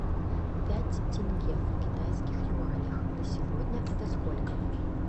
пять тенге в китайских юанях на сегодня это сколько